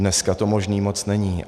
Dneska to možné moc není.